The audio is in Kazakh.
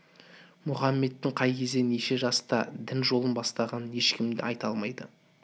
мұхаммедтің қай кезде неше жаста дін жолын бастағанын ешкім де айта алмайды